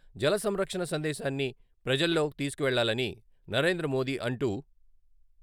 జల సంరక్షణ సందేశాన్ని ప్రజల్లో తీసుకువెళ్ళాలని నరేంద్రమోదీ అంటూ.....